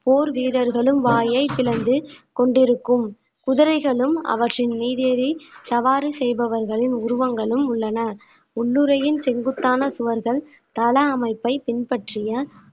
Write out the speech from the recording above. போர் வீரர்களும் வாயை பிளந்து கொண்டிருக்கும் குதிரைகளும் அவற்றின் மீது ஏறி சவாரி செய்பவர்களின் உருவங்களும் உள்ளன உள்ளுறையின் செங்குத்தான சுவர்கள் தள அமைப்பை பின்பற்றிய